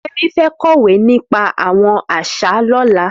Femi fẹ̀ kọwé nipà awọn àṣá lọ̀lá